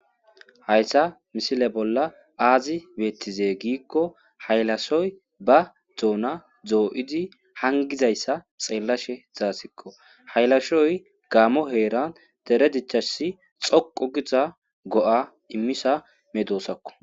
hayssa misile bolla aazi beettize giikko haylashoy ba doona doo7idi hangizayssa xeellashe zaasikko haylashoy gaamo heeran tere dichasi xoqo giza go7a immisa medoosakko